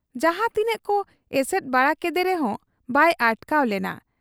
ᱡᱟᱦᱟᱸ ᱛᱤᱱᱟᱹᱜ ᱠᱚ ᱮᱥᱮᱫ ᱵᱟᱲᱟ ᱠᱮᱫᱮ ᱨᱮᱦᱚᱸ ᱵᱟᱭ ᱟᱴᱠᱟᱣ ᱞᱮᱱᱟ ᱾